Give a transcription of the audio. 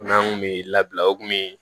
N'an kun bɛ labila o kun bɛ